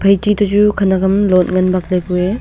haichi to chu khanak am lot ngan bak ley ku ee.